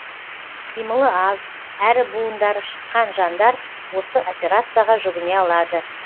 қимылы аз әрі буындары шыққан жандар осы операцияға жүгіне алады